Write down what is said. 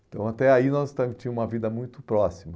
Então até aí nós também tínhamos uma vida muito próxima.